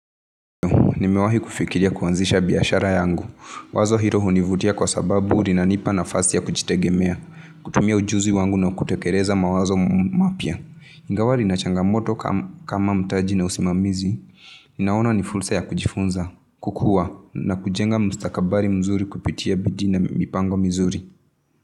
Wazo hilo hunivutia kwasababu linanipa nafasi ya kujitegemea, kutumia ujuzi wangu na kutekeleza mawazo mapya. Ingawa lina changamoto kama mtaji na usimamizi. Naona ni fursa ya kuchifunza, kukua na kujenga mustakabari mzuri kupitia bidii na mipango mizuri.